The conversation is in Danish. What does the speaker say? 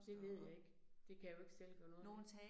Det ved jeg ikke. Det kan jeg jo ikke selv gøre noget ved